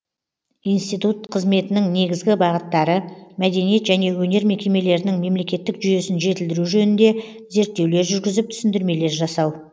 институт қызметінің негізгі бағыттары мәдениет және өнер мекемелерінің мемлекеттік жүйесін жетілдіру жөнінде зерттеулер жүргізіп түсіндірмелер жасау